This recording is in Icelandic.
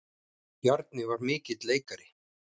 Bjarni var mikill leikari.